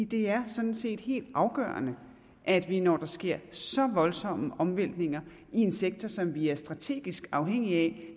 det er sådan set helt afgørende at vi når der sker så voldsomme omvæltninger i en sektor som vi er strategisk afhængige af